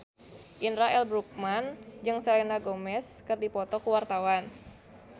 Indra L. Bruggman jeung Selena Gomez keur dipoto ku wartawan